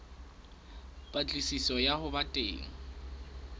patlisiso ya ho ba teng